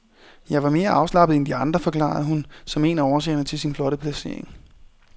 Jeg var mere afslappet end de andre, forklarede hun som en af årsagerne til sin flotte placering.